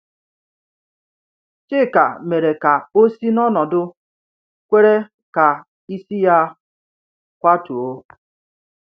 Chika mere ka o si n’ọnọdụ kwere ka isi ya a kwatuo.